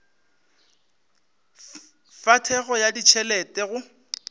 fa thekgo ya ditšhelete go